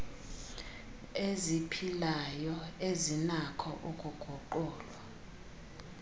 eziphilayo ezinakho ukuguqulwa